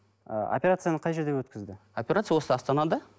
ы оперцияны қай жерде өткізді операция осы астанада